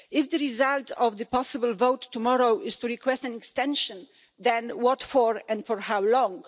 If the result of the possible vote tomorrow is to request an extension, then what for and for how long?